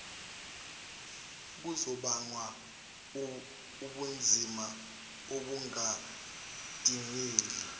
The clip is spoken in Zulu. kuzobanga ubunzima obungadingeki